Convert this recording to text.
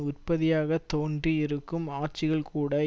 உற்பத்தியாகத் தோன்றி இருக்கும் ஆட்சிகள் கூட